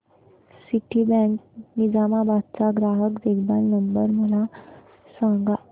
Citibank Nizamabad चा ग्राहक देखभाल नंबर मला सांगा